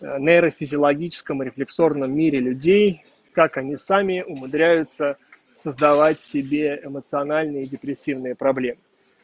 в нейрофизиологическое рефлекторном мире людей как они сами умудряются создавать себе эмоциональные депрессивные проблемы